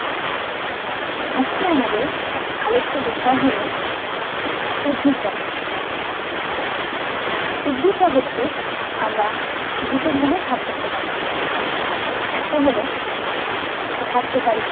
আজকে আমাদের আলোচ্য বিষয় হলো উদ্ভিদ জগত। উদ্ভিদ জগতকে আমরা দুটো ভাগে ভাগ করতে পারি। একটা হলো সাহায্যকারী